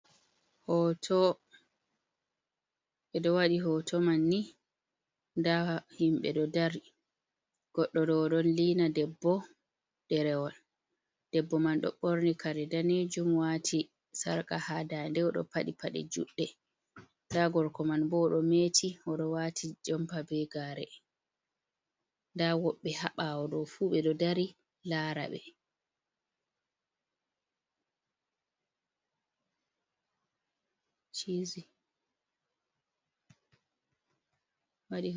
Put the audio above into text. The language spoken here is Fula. Hoto, edo wadi hoto man ni, da himbe do dari goddo do do lina debbo ďerewal debbo man do borni kare danejum wati sarka ha dande o do padi pade judde, da gorko man bo do meti odo wati jumpa be gare, da woɓbe haɓawo do fu be do dari lara be.